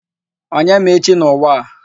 Onye ma echi n'ụwa a?